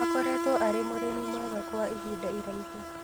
Akoretwo arĩ mũrĩmi mwega kwa ihinda iraihu